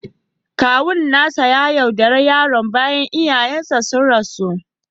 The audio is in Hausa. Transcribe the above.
Kawun nasa ya yaudare yaron bayan iyayensa sun rasu